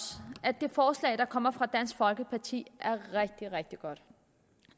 at det forslag der kommer fra dansk folkeparti er rigtig rigtig godt